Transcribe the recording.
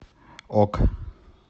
ок